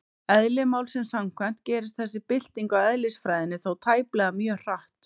Eðli málsins samkvæmt gerist þessi bylting á eðlisfræðinni þó tæplega mjög hratt.